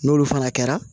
N'olu fana kɛra